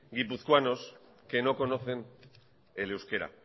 guipuzcoanos que no conocen el euskera